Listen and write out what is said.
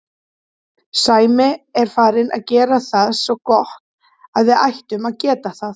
Sæmi er farinn að gera það svo gott að við ættum að geta það.